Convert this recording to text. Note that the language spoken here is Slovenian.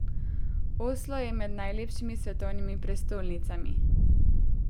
Oslo je med najlepšimi svetovnimi prestolnicami.